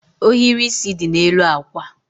Ohiri isi dị n'elu akwa